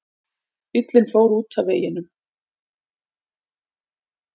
Bíllinn fór út af veginum